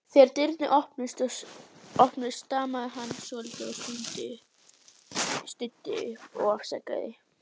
Þegar dyrnar opnuðust stamaði hann svolítið og stundi upp: Afsakið